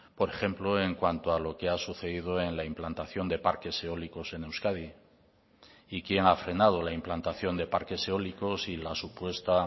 por ejemplo en cuanto a lo que ha sucedido en la implantación de parques eólicos en euskadi y quién ha frenado la implantación de parques eólicos y la supuesta